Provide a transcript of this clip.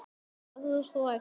Verður hrædd.